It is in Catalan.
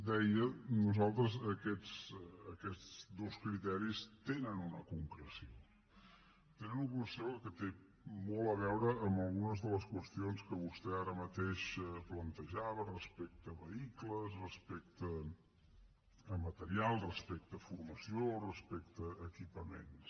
deia que per nosaltres aquests dos criteris tenen una concreció tenen una concreció que té molt a veure amb algunes de les qüestions que vostè ara mateix plantejava respecte a vehicles respecte a material respecte a formació respecte a equipaments